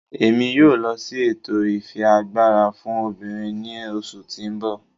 Emi yóò lọ si ètò ifiagbara fún obìnrín ni oṣu ti n bọ